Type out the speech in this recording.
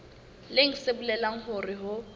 leng se bolelang hore ho